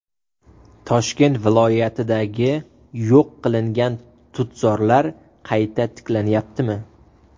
Toshkent viloyatidagi yo‘q qilingan tutzorlar qayta tiklanyaptimi?.